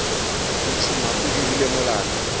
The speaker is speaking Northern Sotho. o tšhuma o dirile molato